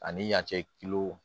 Ani yanci